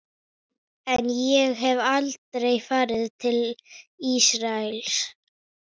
En ég hef aldrei farið til Ísraels.